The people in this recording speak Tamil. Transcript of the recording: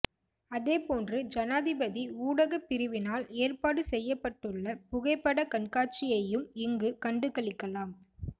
அதேபோன்று ஜனாதிபதி ஊடகப் பிரிவினால் ஏற்பாடு செய்யப்பட்டுள்ள புகைப்படக் கண்காட்சியையும் இங்கு கண்டுகளிக்கலாம்